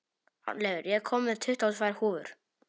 Arnleifur, ég kom með tuttugu og tvær húfur!